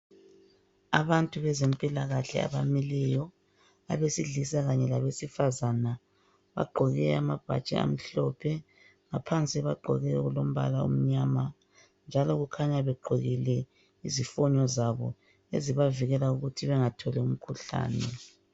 Abantu bezempilakahle abamileyo abesilisa kanye labesifazana bagqoke amabhatshi amhlophe ngaphansi bagqoke okulombala omnyama njalo kukhanya begqokile izifinyo zabo ezibavikela ukuthi bengatholi umkhuhlane.